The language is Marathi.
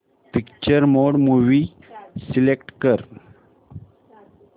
पिक्चर मोड मूवी सिलेक्ट कर